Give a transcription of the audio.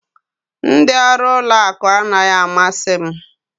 Ndị ọrụ ụlọ akụ anaghị amasị m